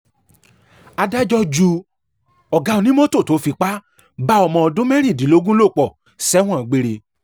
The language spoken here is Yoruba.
adájọ́ ju ọ̀gá onímọ́tò tó fipá bá ọmọ ọdún mẹ́rìndínlógún lò pọ̀ sẹ́wọ̀n gbére